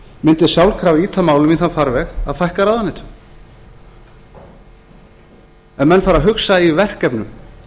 mundi sjálfkrafa ýta málinu í þann farveg að fækka ráðuneytum ef menn fara að hugsa í verkefnum